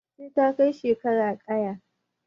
Sai ta kai shekara ƙaya